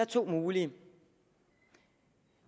to mulige